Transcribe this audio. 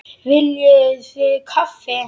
Viljiði kaffi?